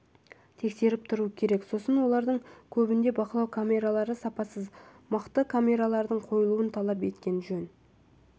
тексеріп тұру керек сосын олардың көбінде бақылау камералары сапасыз мықты камералардың қойылуын талап еткен жөн